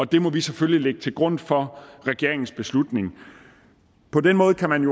det må vi selvfølgelig lægge til grund for regeringens beslutning på den måde kan man